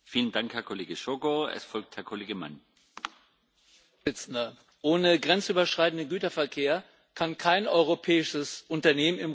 Herr Präsident! Ohne grenzüberschreitenden Güterverkehr kann kein europäisches Unternehmen im globalen Wettbewerb bestehen.